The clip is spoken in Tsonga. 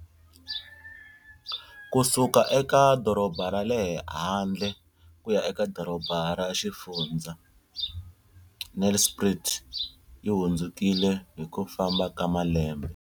Ku suka eka doroba ra le handle ku ya eka doroba ra xifundzha, Nelspruit yi hundzukile hi ku famba ka malembe.